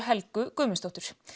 Helgu Guðmundsdóttur